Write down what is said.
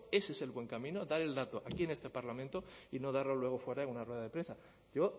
ese es el buen camino dar el dato aquí en este parlamento y no darlo luego fuera en una rueda de prensa yo